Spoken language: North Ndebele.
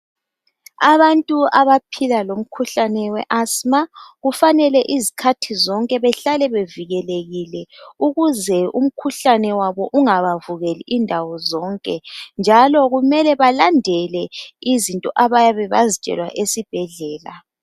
Abantu abaphila lomkhuhlane we asma kufanele izikhathi zonke behlale bevikelekile ukuze umkhuhlane wabo ungaba vukeli indawo zonke njalo kumele balandele izinto abayabe bezitshelwe esibhedlela .